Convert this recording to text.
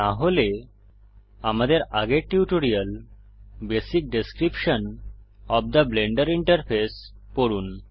না হলে আমাদের আগের tutorial basic description of the Blender interface পড়ুন